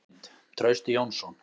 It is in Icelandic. Önnur mynd: Trausti Jónsson.